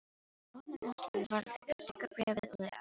Hann opnar umslagið varlega, tekur bréfið og les.